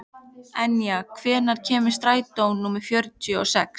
Enja, hvenær kemur strætó númer fjörutíu og sex?